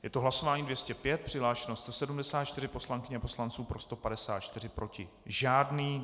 Je to hlasování 205, přihlášeno 174 poslankyň a poslanců, pro 154, proti žádný.